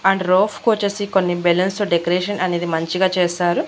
And roof కొచ్చేసి కొన్ని balloons తో డెకరేషన్ అనేది మంచిగా చేస్తారు.